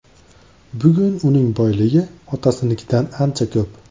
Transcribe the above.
Bugun uning boyligi otasinikidan ancha ko‘p.